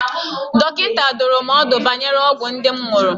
Dọkịta dụrụ m ọdụ banyere ọgwụ ndị m ṅụrụ.